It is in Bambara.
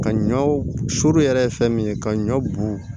Ka ɲɔ suru yɛrɛ ye fɛn min ye ka ɲɔ bugu